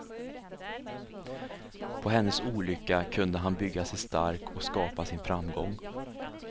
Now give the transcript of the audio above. På hennes olycka kunde han bygga sig stark och skapa sin framgång.